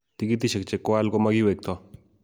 tikitishek che kwaal ko makiwekto